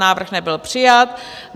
Návrh nebyl přijat.